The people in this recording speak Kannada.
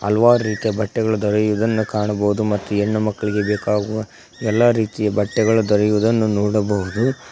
ಹಲವಾರು ರೀತಿಯ ಬಟ್ಟೆಗಳ ದೊರೆಯುವುದನ್ನು ಕಾಣಬಹುದು ಮತ್ತು ಹೆಣ್ಣು ಮಕ್ಕಳಿಗೆ ಬೇಕಾಗುವ ಎಲ್ಲಾ ರೀತಿಯ ಬಟ್ಟೆಗಳು ದೊರೆಯುವುದನ್ನು ನೋಡಬಹುದು.